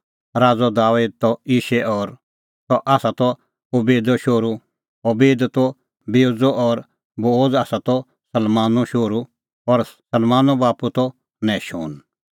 राज़अ दाबेद त यिशै और सह आसा त ओबेदो शोहरू ओबेद त बोअज़ो और बोअज़ आसा त सलमोनो शोहरू और सलमोनो बाप्पू त नहशोन